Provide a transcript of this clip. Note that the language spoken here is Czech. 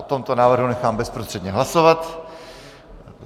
O tomto návrhu nechám bezprostředně hlasovat.